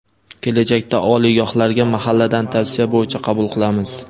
kelajakda oliygohlarga mahalladan tavsiya bo‘yicha qabul qilamiz.